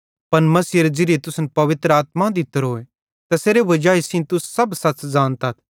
पन मसीहेरे ज़िरीये तुसन पवित्र आत्मा दित्तोरोए तैसेरे वजाई सेइं तुस सब सच़ ज़ानतथ